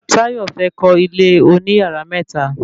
Tayo fẹ́ kọ́ ilé oní yàrá mẹ́ta